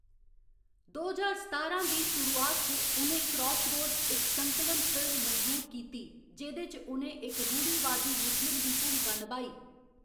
दो ज्हार सतारां दी शुरुआत च, उ'नें क्रॉसरोड, इक संकलन फिल्म, मंजूर कीती, जेह्‌‌‌दे च उ'नें इक रूढ़ीवादी मुस्लिम दी भूमका निभाई।